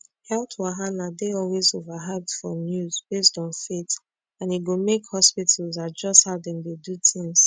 health wahala dey always overhyped for news based on faith and e go make hospitals adjust how dem dey do tins